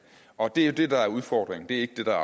og det er jo det der er udfordringen det er